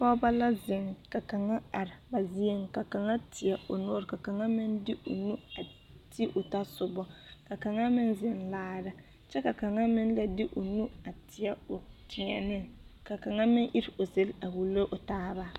Pɔgbɔ la zeŋ ka kaŋa are a vuun ka kaŋa teɛ o noɔre ka kaŋa meŋ de o nu ti a o tasobɔ ka kaŋa meŋ zeŋ laara kyɛ ka kaŋa meŋ la de o nu a teɛ o teɛneŋ ka kaŋa meŋ iri o zel a wulo o taaba.